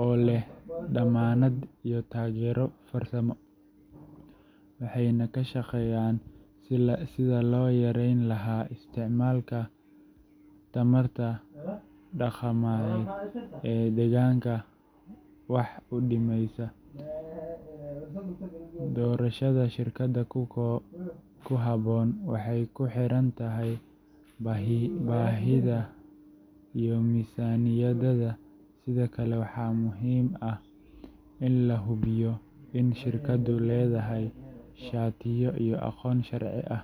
oo leh dammaanad iyo taageero farsamo, waxayna ka shaqeeyaan sidii loo yareyn lahaa isticmaalka tamarta dhaqameed ee deegaanka wax u dhimaysa. Doorashada shirkad ku habboon waxay ku xiran tahay baahidaada iyo miisaaniyadaada, sidoo kale waxaa muhiim ah in la hubiyo in shirkaddu leedahay shatiyo iyo aqoonsi sharci ah.